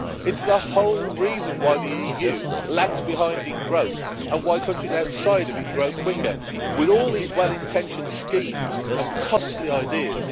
it's the whole reason why the EU lags behind in growth, and why countries outside of it grow quicker, with all these well-intentioned schemes and costly ideas.